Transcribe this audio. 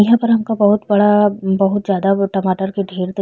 यहाँ पर हमका बहुत बड़ा बहुत ज्यादा टमाटर के ढेर दे --